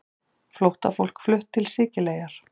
Flóttafólk flutt til Sikileyjar